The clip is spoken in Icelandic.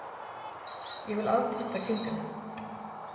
Ég vil afpanta kindina.